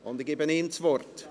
Ich gebe ihm das Wort.